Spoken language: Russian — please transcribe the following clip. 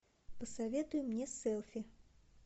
посоветуй мне селфи